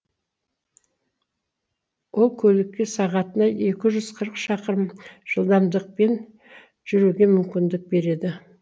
ол көлікке сағатына екі жүз қырық шақырым жылдамдықпен жүруге мүмкіндік береді